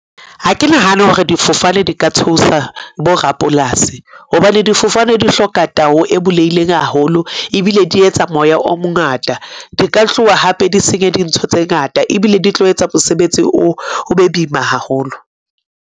Ha ke nahane hore difofane di ka thusa borapolasi, hobane difofane di hloka tao e bulehileng haholo, ebile di etsa moya o mongata. Di ka tloha hape di senye dintho tse ngata, ebile di tlo etsa mosebetsi o be boima haholo.